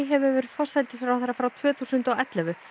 hefur verið forsætisráðherra frá tvö þúsund og ellefu